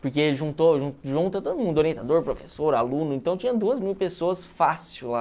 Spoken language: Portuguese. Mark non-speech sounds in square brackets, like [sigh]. Porque juntou, [unintelligible] junta todo mundo, orientador, professor, aluno, então tinha duas mil pessoas fácil lá.